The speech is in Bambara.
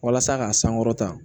Walasa ka sankɔrɔta